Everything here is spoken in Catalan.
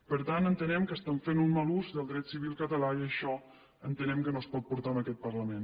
per tant entenem que estan fent un mal ús del dret civil català i això entenem que no es pot portar en aquest parlament